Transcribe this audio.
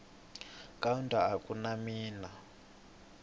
kaunda a ku na mina